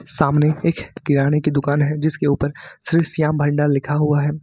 सामने एक किराने की दुकान है जिसके ऊपर श्री श्याम भंडार लिखा हुआ है।